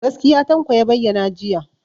Gaskiya Tanko ya bayyana jiya.